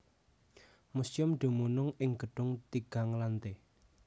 Museum dumunung ing gedung tigang lante